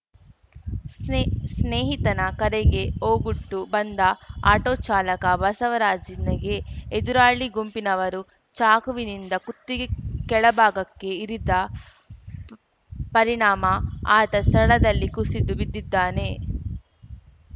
ಸ್ನೇಹಿ ಸ್ನೇಹಿತನ ಕರೆಗೆ ಓಗೊಟ್ಟು ಬಂದ ಆಟೋ ಚಾಲಕ ಬಸವರಾಜ್ ನಿಗೆ ಎದುರಾಳಿ ಗುಂಪಿನವರು ಚಾಕುವಿನಿಂದ ಕುತ್ತಿಗೆ ಕೆಳ ಭಾಗಕ್ಕೆ ಇರಿದ ಪರಿಣಾಮ ಆತ ಸ್ಥಳದಲ್ಲೇ ಕುಸಿದು ಬಿದ್ದಿದ್ದಾನೆ